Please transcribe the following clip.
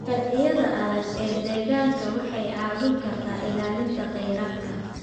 Sharciyada adag ee deegaanka waxay caawin kartaa ilaalinta khayraadka.